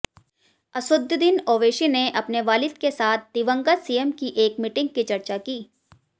असदुद्दीन ओवैसी ने अपने वालिद के साथ दिवंगत सीएम की एक मीटिंग की चर्चा की